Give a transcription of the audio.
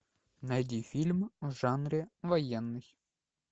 найди фильм в жанре военный